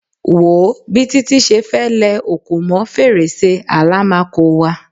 Wo o bi Títí se fe lẹ òkò mọ́ fèrèsé àlámakò wa